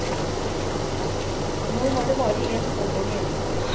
Nå var det bare en søndag igjen.